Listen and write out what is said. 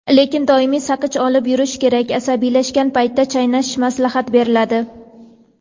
Lekin doim saqich olib yurish kerak asabiylashgan paytda chaynash maslahat beriladi.